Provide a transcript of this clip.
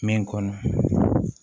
Min kɔnɔ